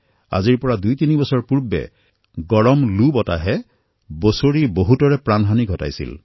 আজিৰ পৰা দুইতিনি বছৰ পূৰ্বে লুৰ উষ্ণ প্ৰৱাহৰ বাবে প্ৰতিবৰ্ষতে সহস্ৰাধিক লোকে নিজৰ জীৱন হেৰুৱাইছিল